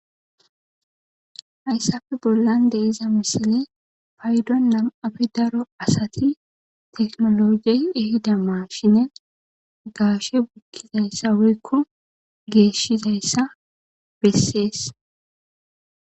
Hayssafe bollan de iza misile paydo nam7afe daro asati teknologey ehida maashine gaashe bukkizayssa weykko geeshshizayssa bessees